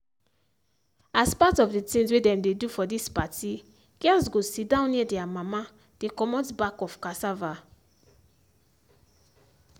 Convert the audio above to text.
as part of the things wey dem dey do for this party girls go sit down near their mama dey comot back of cassava.